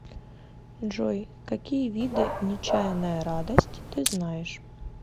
джой какие виды нечаянная радость ты знаешь